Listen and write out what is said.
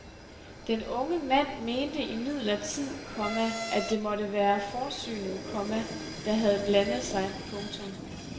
Den unge mand mente imidlertid, komma at det måtte være forsynet, komma der havde blandet sig. punktum